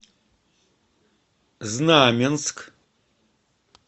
знаменск